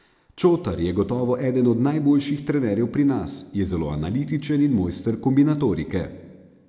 Čotar je gotovo eden od najboljših trenerjev pri nas, je zelo analitičen in mojster kombinatorike.